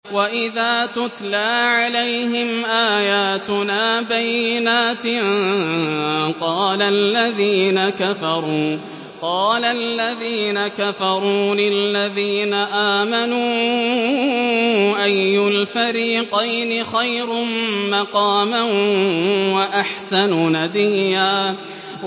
وَإِذَا تُتْلَىٰ عَلَيْهِمْ آيَاتُنَا بَيِّنَاتٍ قَالَ الَّذِينَ كَفَرُوا لِلَّذِينَ آمَنُوا أَيُّ الْفَرِيقَيْنِ خَيْرٌ مَّقَامًا وَأَحْسَنُ نَدِيًّا